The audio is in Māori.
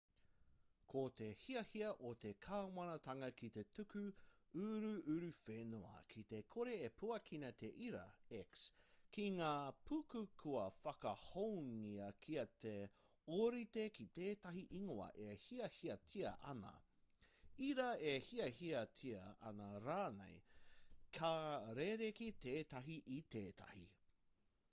ko te hiahia o te kāwanatanga ki te tuku uruuruwhenua ki te kore e puakina te ira x ki ngā puka kua whakahoungia kia ōrite ki tētahi ingoa e hiahiatia ana ira e hiahiatia ana rāne ka rerekē tētahi i tētahi